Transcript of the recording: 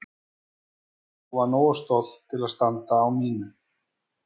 Og var nógu stolt til að standa á mínu.